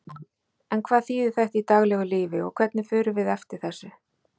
En hvað þýðir þetta í daglegu lífi og hvernig förum við eftir þessu?